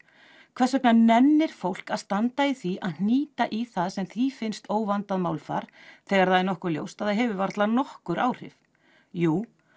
hvers vegna nennir fólk að standa í því að hnýta í það sem því finnst óvandað málfar þegar það er nokkuð ljóst að það hefur varla nokkur áhrif jú